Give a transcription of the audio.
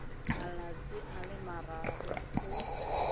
malatsi a le mararo go